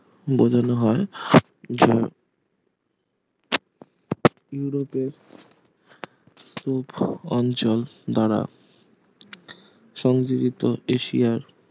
বোঝানো হয় যে ইউরোপের স্তূপ অঞ্চল দ্বারা সংগৃহীত এশিয়ার